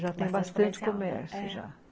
Já tem bastante comércio, já. É